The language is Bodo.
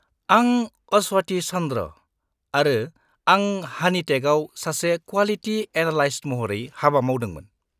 -आं अस्वथि चन्द्र' आरो आं हानिटेकआव सासे क्वालिटि एनालाइस्ट महरै हाबा मावदोंमोन।